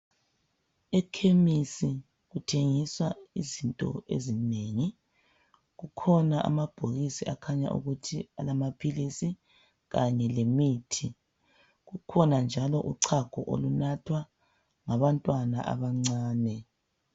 E khemisi kuthengiswa izinto ezinengi, kukhona amabhokisi akhanya ukuthi alamaphilisi kanye lemithi, kukhona njalo uchago oluthathwa ngabantwana abancane.